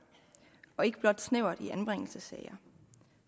og ikke blot snævert i anbringelsessager